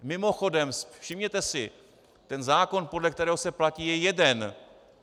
Mimochodem, všimněte si, ten zákon, podle kterého se platí, je jeden.